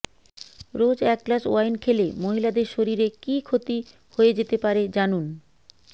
রোজ এক glass wine খেলে মহিলাদের শরীরে কী ক্ষতি হয়ে যেতে পারে জানুন